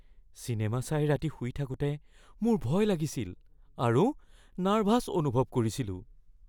Cinema চাই ৰাতি শুই থাকোঁতে মোৰ ভয় লাগিছিল আৰু নাৰ্ভাছ অনুভৱ কৰিছিলোঁ।